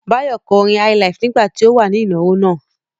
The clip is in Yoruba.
Báyọ̀ kọ orin highlife nígbà tí ó wà ní ìnáwó náà.